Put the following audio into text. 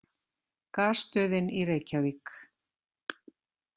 Gasstöðin í Reykjavík.